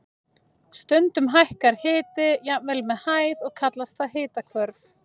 Stundum hækkar hiti jafnvel með hæð og kallast það hitahvörf.